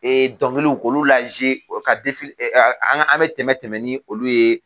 dɔnkiliw k'olu la zuye o ka an an bɛ tɛmɛ tɛmɛn ni olu ye,